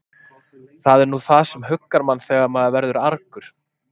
Það er nú það sem huggar mann þegar maður verður argur.